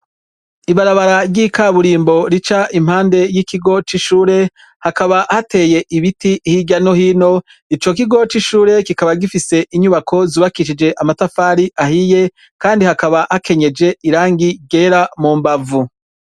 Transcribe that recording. Ibarabara ry'ikaburimbo rica impande y'ikigo c'ishure hakaba hateye ibiti hirya no hino ico kigo c'ishure kikaba gifise inyubako zubakishije amatafari ahiye kandi hakaba hakenyeje irangi yera mu mbavu.